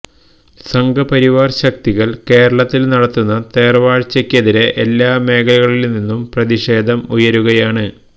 സംഘപരിവാർ ശക്തികൾ കേരളത്തിൽ നടത്തുന്ന തേർവാഴ്ചയ്ക്കെതിരെ എല്ലാ മേഖലകളിൽനിന്നും പ്രതിഷേധം ഉയരുകയാണ്